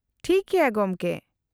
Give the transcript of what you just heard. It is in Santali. -ᱴᱟᱷᱤᱠ ᱜᱮᱭᱟ ᱜᱚᱢᱠᱮ ᱾